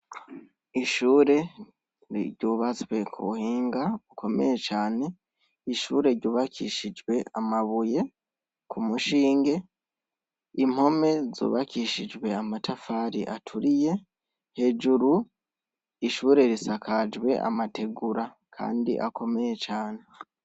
Ishure ryubatswe kubuhinga bukomeye cane, ishure ryubakishijwe amabuye ku mushinge, impome zubakishijwe amatafari aturiye hejuru ishure risakajwe amategura kandi akomeye cane.